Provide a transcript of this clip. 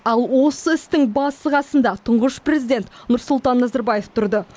ал осы істің басы қасында тұңғыш президент нұрсұлтан назарбаев тұрды